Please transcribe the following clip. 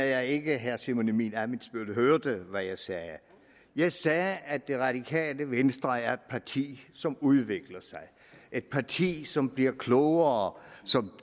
jeg ikke herre simon emil ammitzbøll hørte hvad jeg sagde jeg sagde at det radikale venstre er et parti som udvikler sig et parti som bliver klogere